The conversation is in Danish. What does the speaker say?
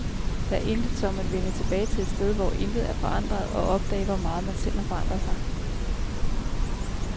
Der er intet som at vende tilbage til et sted, hvor intet er forandret, og opdage, hvor meget man selv har forandret sig.